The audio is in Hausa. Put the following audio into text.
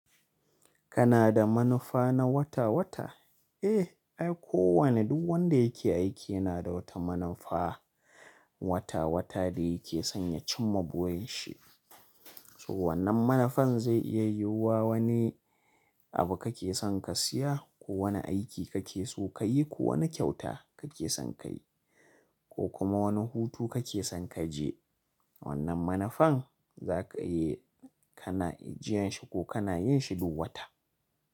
Kana da manufa na wata-wata? Eh, ai ko wane duk wanda yake aiki yana da wata manufa wata-wata da yake son ya ci ma burin shi. So wannan manufan zai iya yiwuwa wani abu kake son ka siya ko wani aiki kake so kayi ko wani kyauta kake son kayi ko kuma wani hutu kake son kaje. Wannan manufan zaka iya kana ijiyan shi ko kana yin shi duk wata.